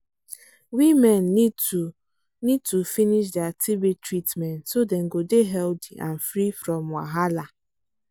women need to need to finish dia tb treatment so dem go dey healthy and free from wahala